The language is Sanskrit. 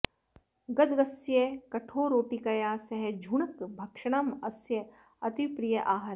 गदगस्य कठोररोटिकया सह झुणक भक्षणम् अस्य अतीवप्रियः आहारः